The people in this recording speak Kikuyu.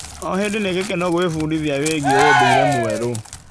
O hĩndĩ nĩ gĩkeno gwĩbundithia wĩgie ũndũire mwerũ.